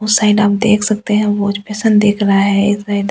उस साइड आप देख सकते हैं वजपेशन दिख रहा है इस साइड --